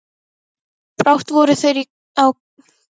Brátt voru þeir á kafi í vinnunni.